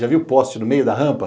Já viu poste no meio da rampa?